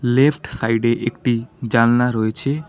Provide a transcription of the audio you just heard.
Left সাইডে একটি জালনা রয়েছে।